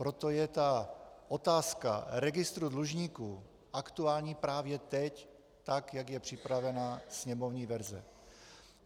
Proto je ta otázka registru dlužníků aktuální právě teď, tak jak je připravena sněmovní verze.